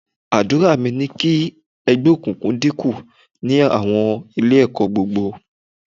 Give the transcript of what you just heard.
Àdúrà mi ni kí ẹgbẹ́ òkùnkùn dínkù ní àwọn Ilé-ẹ̀kọ́ gbogbo